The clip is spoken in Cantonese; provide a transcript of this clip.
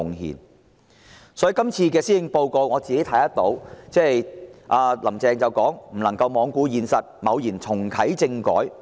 然而，"林鄭"在今年的施政報告中強調，"不能罔顧現實，貿然重啟政改"。